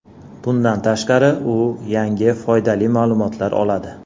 Bundan tashqari u yangi foydali ma’lumotlar oladi.